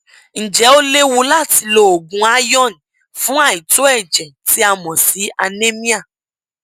ǹjẹ ó léwu láti lo oògùn iron fún àìtó ẹjẹ tí a mọ sí anemia